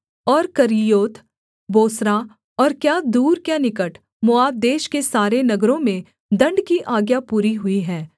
और Kerioth Bozrah और क्या दूर क्या निकट मोआब देश के सारे नगरों में दण्ड की आज्ञा पूरी हुई है